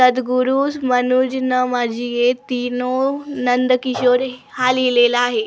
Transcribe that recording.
सद्गुरुज मनुज ना माझी ये तीनो नंदकिशोर हा लिहिलेला आहे.